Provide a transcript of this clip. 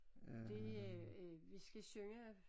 Det øh øh vi skal synge